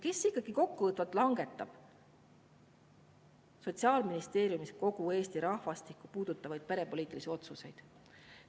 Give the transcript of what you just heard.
Kes ikkagi kokkuvõttes langetab Sotsiaalministeeriumis kogu Eesti rahvastikku puudutavaid perepoliitilisi otsuseid?